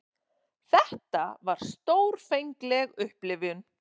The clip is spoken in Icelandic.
Þetta var stórfengleg upplifun.